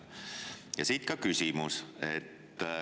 Ja siit ka küsimus.